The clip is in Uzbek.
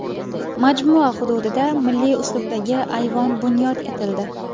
Majmua hududida milliy uslubdagi ayvon bunyod etildi.